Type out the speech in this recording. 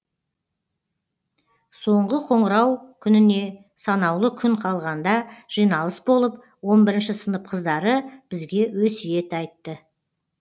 соңғы қоңырау күніне санаулы күн қалған да жиналыс болып он бірінші сынып қыздары бізге өсиет айтты